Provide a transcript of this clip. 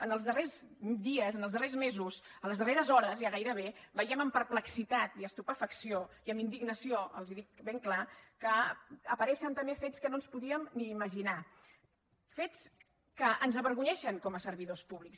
en els darrers dies en els darrers mesos a les darreres hores ja gairebé veiem amb perplexitat i estupefacció i amb indignació els ho dic ben clar que apareixen també fets que no ens podíem ni imaginar fets que ens avergonyeixen com a servidors públics